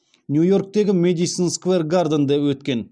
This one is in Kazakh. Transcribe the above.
нью йорктегі мэдисон сквер гарденде өткен